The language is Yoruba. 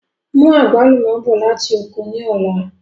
Mú àgbálùmọ̀ bọ̀ láti oko ni ọ̀la!